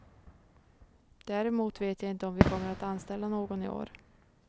Däremot vet jag inte om vi kommer att anställa någon i år.